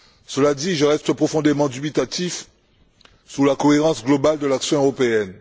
Cela dit, je reste profondément dubitatif sur la cohérence globale de l'action européenne.